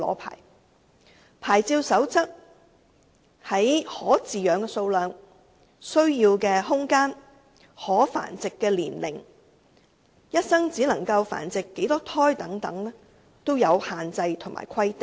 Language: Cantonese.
牌照守則在可飼養寵物的數量、需要的空間、可繁殖的年齡、一生只能繁殖多少胎等方面均有限制及規定。